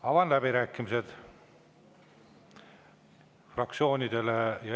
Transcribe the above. Avan läbirääkimised fraktsioonidele.